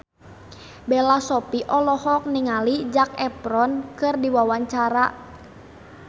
Bella Shofie olohok ningali Zac Efron keur diwawancara